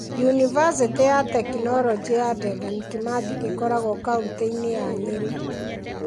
Yunivasĩtĩ ya Tekinoroji ya Dedan Kimathi ĩkoragwo kaunti-inĩ ya Nyeri.